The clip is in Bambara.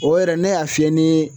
O yɛrɛ ne y'a fiyɛ ni